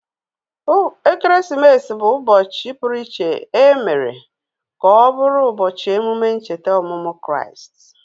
Ekeresimesi bụ ụbọchị pụru iché emere ka ọ bụrụ ubochi emume ncheta ọmụmụ Kraịst